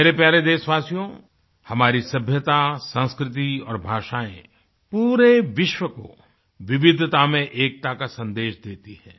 मेरे प्यारे देशवासियो हमारी सभ्यता संस्कृति और भाषाएं पूरे विश्व को विविधता में एकता का सन्देश देती हैं